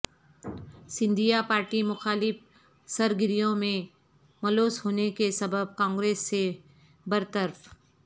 Scindia party مخالف سرگریوں میں ملوث ہونے کے سبب کانگریس سے برطرف